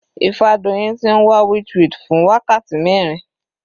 Ifadoyin ti ń wá witchweed fún wákàtí mẹrin.